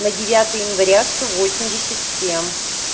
на девятое января сто восемьдесят семь